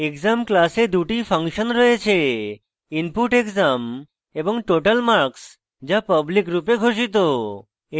exam class দুটি function রয়েছে input _ exam এবং total _ marks যা public রূপে ঘোষিত